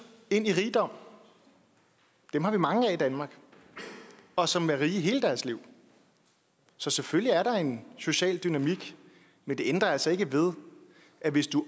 ind i rigdom dem har vi mange af i danmark og som er rige i hele deres liv så selvfølgelig er der en social dynamik men det ændrer altså ikke ved at hvis du